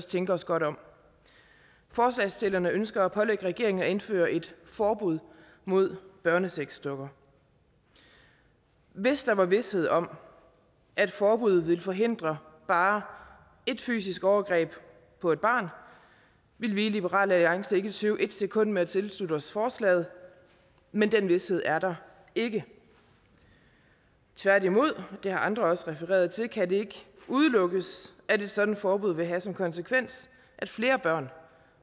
tænke os godt om forslagsstillerne ønsker at pålægge regeringen at indføre et forbud mod børnesexdukker hvis der var vished om at et forbud ville forhindre bare ét fysisk overgreb på et barn ville vi i liberal alliance ikke tøve et sekund med at tilslutte os forslaget men den vished er der ikke tværtimod det har andre også refereret til kan det ikke udelukkes at et sådant forbud vil have som konsekvens at flere børn